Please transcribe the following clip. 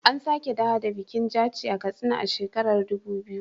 An sake dawo da bikin Jaci a Katsina a shekarar Dubu biyu.